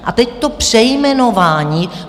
A teď to přejmenování.